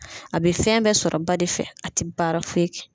A be fɛn bɛɛ sɔrɔ ba de fɛ, a te baara foyi kɛ.